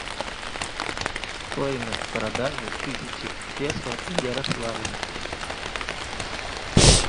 стоимость продажи тысячи песо в ярославле